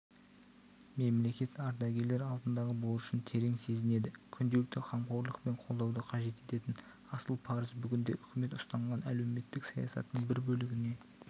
мемлекет ардагерлер алдындағы борышын терең сезінеді күнделікті қамқорлық пен қолдауды қажет ететін асыл парыз бүгінде үкімет ұстанған әлеуметтік саясаттың бір бөлігіне